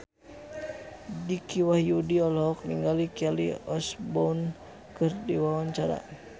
Dicky Wahyudi olohok ningali Kelly Osbourne keur diwawancara